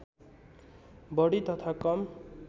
बढी तथा कम